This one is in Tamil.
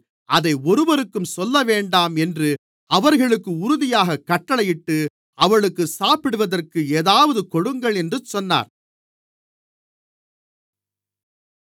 அதை ஒருவருக்கும் சொல்லவேண்டாம் என்று அவர்களுக்கு உறுதியாகக் கட்டளையிட்டு அவளுக்குச் சாப்பிடுவதற்கு ஏதாவது கொடுங்கள் என்று சொன்னார்